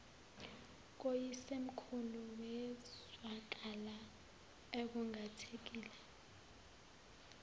koyisemkhulu wezwakala ekhungathekile